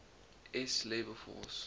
s labor force